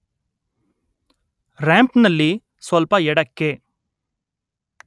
ರಾಂಪ್‌ನಲ್ಲಿ ಸ್ವಲ್ಪ ಎಡ ಕ್ಕೆ